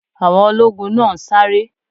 Àwọn ológun náà ń sáré